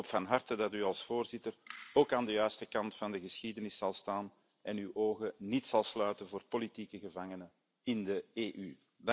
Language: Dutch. Ik hoop van harte dat u als voorzitter ook aan de juiste kant van de geschiedenis zal staan en uw ogen niet zal sluiten voor politieke gevangenen in de EU.